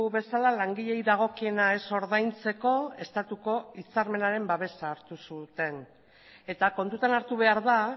bezala langileei dagokiena ez ordaintzeko estatuko hitzarmenaren babesa hartu zuten eta kontutan hartu behar da